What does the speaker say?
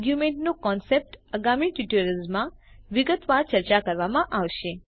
આરગ્યુંમેન્ટનો concept આગામી tutorials માં વિગતવાર ચર્ચા કરવામાં આવશે